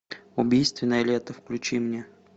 убийственное лето включи мне